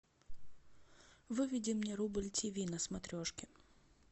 выведи мне рубль тв на смотрешке